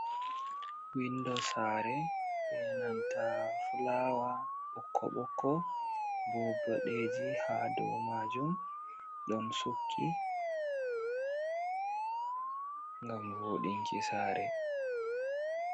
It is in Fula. Windo sare be nanta flawa bokko-bokko be boɗeji ha dou majum ɗon sukki ngam vodinki sare.